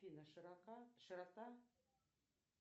афина широка широта